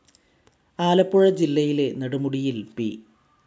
ആലപ്പുഴ ജില്ലയിലെ നെടുമുടിയിൽ പി.